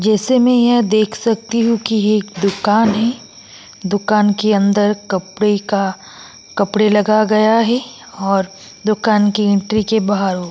जैसे मैं यह देख सकती हु की यह एक दुकान है दुकान के अंदर कपड़े का कपडे लगा गया है और दुकान की एंट्री के बाहर वो --